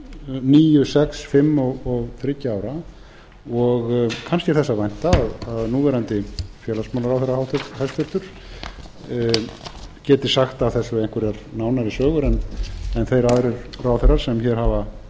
níu sex fimm og þriggja ára og kannski er þess að vænta að núverandi hæstvirtan félagsmálaráðherra geti sagt af þessu einhverjar nánari sögur en þeir aðrir ráðherrar sem hér hafa